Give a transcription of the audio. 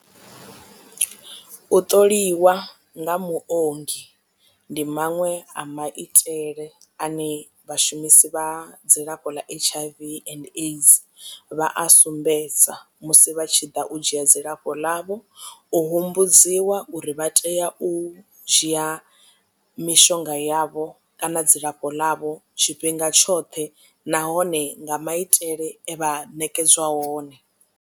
U ṱoliwa nga muongi ndi maṅwe a maitele ane vhashumisi vha dzilafho ḽa H_I_V and aids vha a sumbedza musi vha tshi ḓa u dzhia dzilafho ḽavho u humbudziwa uri vha tea u dzhia mishonga yavho kana dzilafho ḽavho tshifhinga tshoṱhe nahone nga maitele e vha ṋekedzwa one.